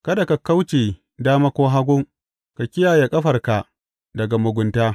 Kada ka kauce dama ko hagu; ka kiyaye ƙafarka daga mugunta.